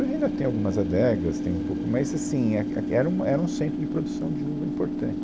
Hoje ainda tem algumas adegas, tem um pouco, mas assim, é que, é que, era um, era um centro de produção de uva importante.